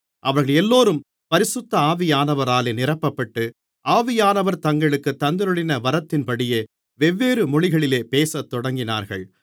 அவர்களெல்லோரும் பரிசுத்த ஆவியானவராலே நிரப்பப்பட்டு ஆவியானவர் தங்களுக்குத் தந்தருளின வரத்தின்படியே வெவ்வேறு மொழிகளிலே பேசத்தொடங்கினார்கள்